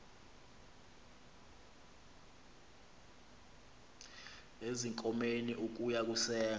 ezinkomeni ukuya kusenga